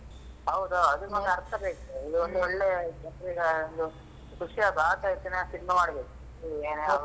ಹೌದು ಅದಕ್ಕೊಂದು ಅರ್ಥ ಬೇಕು ಒಂದು ಒಳ್ಳೆ ಜನರಿಗೆ ಒಂದು ಖುಷಿಯಾಗಬೇಕು ಆ ರೀತಿ cinema ಮಾಡ್ಬೇಕು .